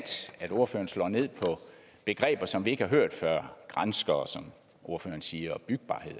at ordføreren slår ned på begreber som vi ikke har hørt før granskere som ordføreren siger og bygbarhed